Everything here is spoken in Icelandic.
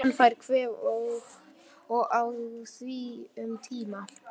Hann fær kvef og á í því um tíma.